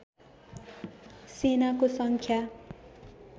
सेनाको सङ्ख्या